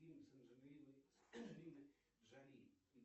фильм с анджелиной джоли